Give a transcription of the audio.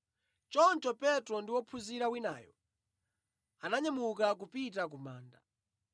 Choncho Petro ndi wophunzira winayo ananyamuka kupita ku manda.